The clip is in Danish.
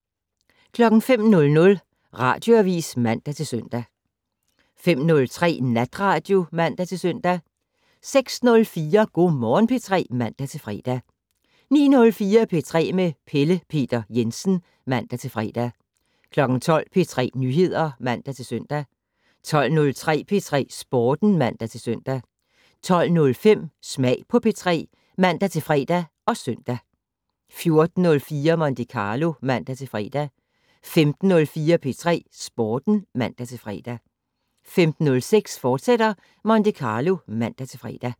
05:00: Radioavis (man-søn) 05:03: Natradio (man-søn) 06:04: Go' Morgen P3 (man-fre) 09:04: P3 med Pelle Peter Jensen (man-fre) 12:00: P3 Nyheder (man-søn) 12:03: P3 Sporten (man-søn) 12:05: Smag på P3 (man-fre og søn) 14:04: Monte Carlo (man-fre) 15:04: P3 Sporten (man-fre) 15:06: Monte Carlo, fortsat (man-fre)